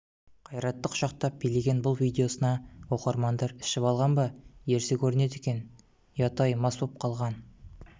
қайратты құшақтап билеген бұл видеосына оқырмандар ішіп алған ба ерсі көрінеді екен ұят-ай мас болып қалған